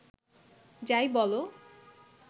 যাই বলো